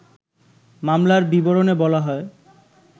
মামলার বিবরণে বলা হয়